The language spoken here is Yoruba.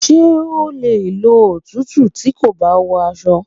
Ṣé o le ló òtútù tí kò bá wọ aṣọ?